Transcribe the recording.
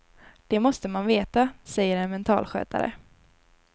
Det måste man veta, säger en mentalskötare.